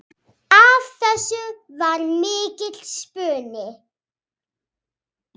Af þessu varð mikill spuni.